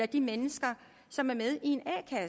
de mennesker som er med i